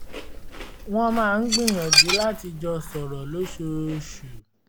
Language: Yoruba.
wọ́n máa ń gbìyànjú láti jọ sọ̀rọ̀ lóṣooṣù